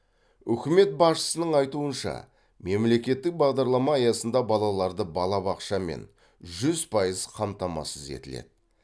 үкімет басшысының айтуынша мемлекеттік бағарлама аясында балаларды балабақшамен жүз пайыз қамтамасыз етіледі